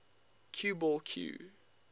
cue ball cue